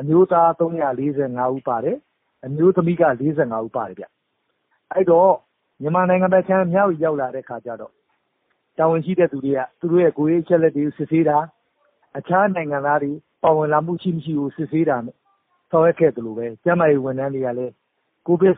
အမျိုသား၃၄၅ဦးပါတယ်။ အမျိုးသမီးက ၄၅ဦးပါတယ်။ မြန်မာနိုင်ငံဘက် မြဝတီဘက်ကို ရောက်တဲ့အခါမှာ တာဝန်ရှိသူတွေက သူတို့တွေကို ကိုယ်ရေးအချက်အလက်တွေကို စစ်ဆေးတာ။ တခြားနိုင်ငံသားတွေ ပါဝင်လာတာ ရှိမရှိကိုလည်း စစ်ဆေးတာ။ ကျန်းမာရေး ဝန်ထမ်းတွေကလည်းကိုဗစ်